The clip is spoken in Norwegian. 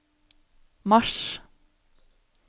mars